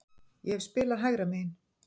Ég hef spilað hægra megin.